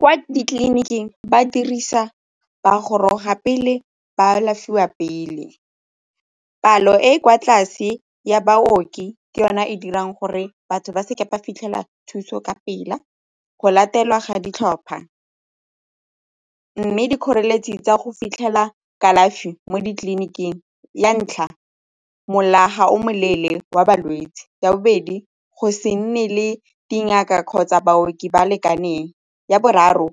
Kwa ditleliniking ba dirisa bagoroga pele ba alafiwa pele, palo e e kwa tlase ya baoki ke yone e dirang gore batho ba seke ba fitlhela thuso ka pela, go latelwa ga ditlhopha mme dikgoreletsi tsa go fitlhela kalafi mo ditleliniking ya ntlha, mola ga o moleele wa balwetse. Ya bobedi, go se nne le dingaka kgotsa baoki ba lekaneng. Ya boraro,